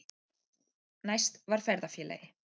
Næst var ferðafélagi